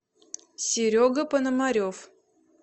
серега пономарев